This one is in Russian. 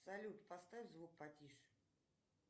салют поставь звук потише